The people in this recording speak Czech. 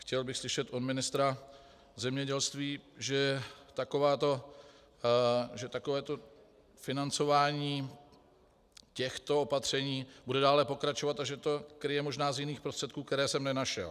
Chtěl bych slyšet od ministra zemědělství, že takovéto financování těchto opatření bude dále pokračovat a že to kryje možná z jiných prostředků, které jsem nenašel.